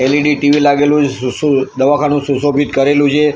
L E D T V લાગેલુ શુ શુ દવાખાનુ સુશોભિત કરેલુ છે.